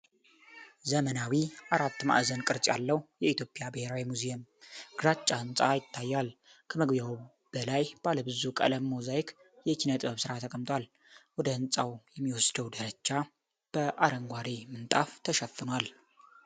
ዘመናዊ አራት ማዕዘን ቅርጽ ያለው የኢትዮጵያ ብሔራዊ ሙዚየም ግራጫ ህንፃ ይታያል። ከመግቢያው በላይ ባለብዙ ቀለም ሞዛይክ የኪነ ጥበብ ሥራ ተቀምጧል፣ ወደ ህንፃው የሚወስደው ደረጃ በአረንጓዴ ምንጣፍ ተሸፍኗል።